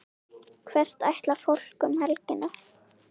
Hvert ætlar fólk um helgina?